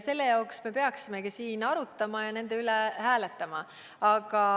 Sellepärast me peaksimegi siin arutama ja nende üle hääletama.